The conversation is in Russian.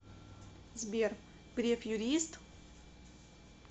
сбер греф юрист